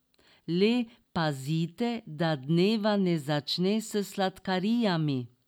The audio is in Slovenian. Le pazite, da dneva ne začne s sladkarijami!